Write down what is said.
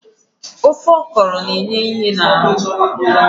Ofe okro na-enye ìhè n'ahụ